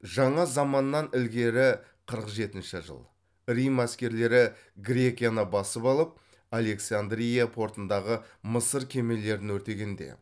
жаңа заманнан ілгері қырық жетінші жыл рим әскерлері грекияны басып алып александрия портындағы мысыр кемелерін өртегенде